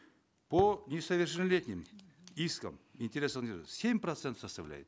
по несовершеннолетним искам интересам семь процентов составляет